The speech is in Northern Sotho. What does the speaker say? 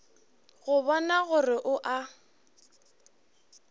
go bona gore o a